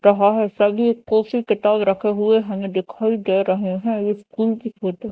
रहा है सभी किताब रखे हुए हमें दिखाई दे रहे हैं ये स्कूल की फोटो --